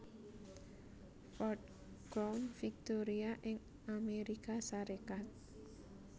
Ford Crown Victoria ing Amérika Sarékat